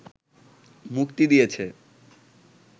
মুক্তি দিয়েছে